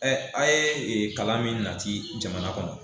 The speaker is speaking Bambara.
Ɛ a ye kalan min nati jamana kɔnɔ